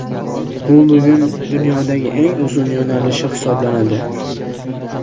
U bugun dunyodagi eng uzun yo‘nalishi hisoblanadi.